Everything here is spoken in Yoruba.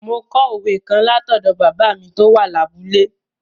Mo kọ òwe kan lọ́dọ̀ bàbá mi tó wà lábúlé.